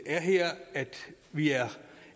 er her at vi er